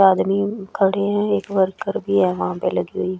आदमी खड़े हैं एक वर्कर भी है वहां पे लगी हुई।